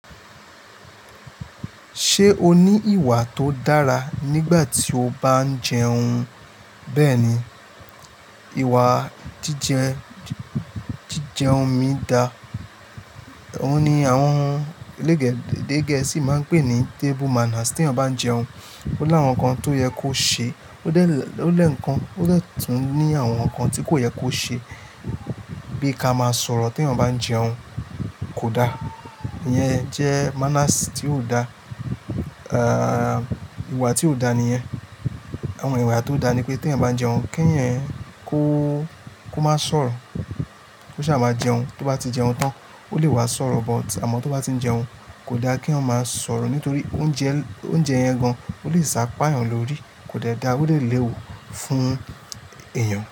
Ṣé o ní ìwà tó dára nígbà tí o bá ń jẹun? Bẹ́ẹ̀ni, ìwà jíjẹ, jíjẹun mi dá. Òun ni àwọn ẹlẹ́de gẹ́ẹ́sì máa ń pè ní table manners. Tí eyan bá ń jẹun, ó láwọn nǹkan tó yẹ kó ṣe, o de kan ó dè tún ní àwọn nǹkan tí kò yẹ kó ṣe bíi ká máa sọ̀rọ̀ tí eyan bá ń jẹun. Kò dá, ìyẹn jẹ́ manners tí ò dá, ìwà tí ò dá níyẹn. Àwọn ìwà tó dá ni pé tí eyan bá ń jẹun, kí ẹ̀yin kó, kó má sọ̀rọ̀. Koṣà máa jẹun, tó bá ti jẹun tán, ó lè wá sọ̀rọ̀, but àmọ́ tó bá ti ń jẹun, kò dá kí eyan máa sọ̀rọ̀ nítorí oúnjẹ, oúnjẹ yẹn gan-an ó lè sá pa ẹ̀yàn lórí. Kò dẹ́ dá, ó dẹ̀ léè wù fún èèyàn.